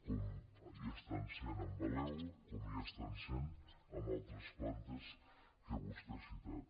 com hi estan sent amb valeo com hi estan sent amb altres plantes que vostè ha citat